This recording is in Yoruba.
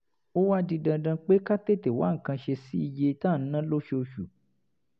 ó wá di dandan pé ká tètè wá nǹkan ṣe sí iye tá à ń ná lóṣooṣù